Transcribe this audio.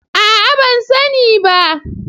Aa ban sani bah.